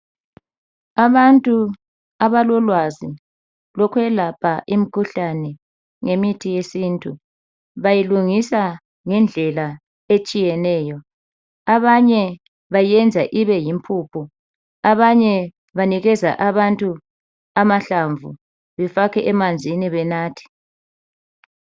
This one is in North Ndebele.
Abantu abalolwazi lokuyelapha imikhuhlane ngemithi yesintu bayilungisa ngendlela etshiyeneyo abanye bayenza ibeyimpuphu abanye banikeza abantu amahlamvu befake emanzini benathe.